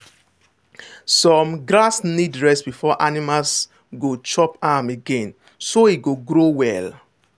some grass need rest before animals go chop am again so e go grow well.